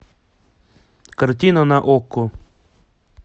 картина на окко